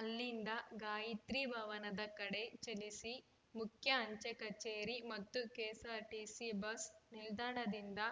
ಅಲ್ಲಿಂದ ಗಾಯತ್ರಿ ಭವನದ ಕಡೆ ಚಲಿಸಿ ಮುಖ್ಯ ಅಂಚೆ ಕಚೇರಿ ಮತ್ತು ಕೆಎಸ್‌ಆರ್‌ಟಿಸಿ ಬಸ್‌ ನಿಲ್ದಾಣದಿಂದ